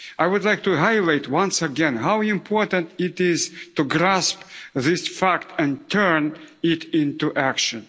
I would like to highlight once again how important it is to grasp this fact and turn it into action.